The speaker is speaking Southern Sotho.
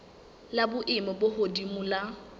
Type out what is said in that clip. la boemo bo hodimo la